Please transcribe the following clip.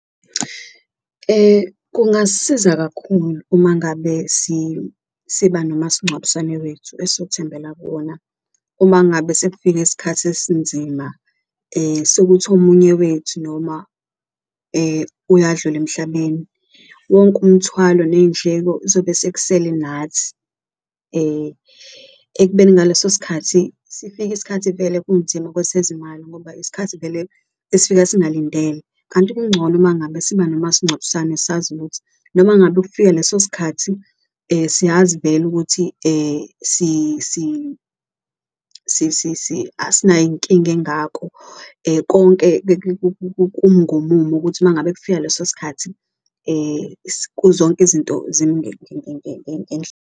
Kungasisiza kakhulu uma ngabe siba nomasincwabisane wethu esothembela kuwona uma ngabe sekufike isikhathi esinzima sokuthi omunye wethu noma uyadlula emhlabeni. Wonke umthwalo ney'ndleko kuzobe sekusele nathi ekubeni ngaleso sikhathi sifike isikhathi vele kunzima kwesezimali ngoba isikhathi vele esifika singalindele. Kanti kuncono uma ngabe siba nomasincwabisane sazi ukuthi noma ngabe kufika leso sikhathi siyazi vele ukuthi asinayo inkinga engako konke kumi ngomumo ukuthi uma ngabe kufika leso sikhathi zonke izinto .